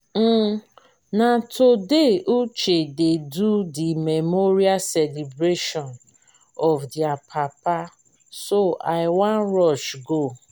um na today uche dey do the memorial celebration of their papa so i wan rush go